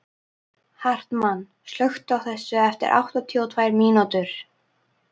Hartmann, slökktu á þessu eftir áttatíu og tvær mínútur.